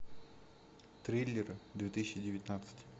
триллеры две тысячи девятнадцать